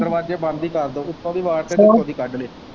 ਦਰਵਾਜੇ ਬੰਦ ਹੀ ਕਰਦੋ ਉੱਤੋਂ ਦੀ ਹੀ ਕੱਢਲੋ।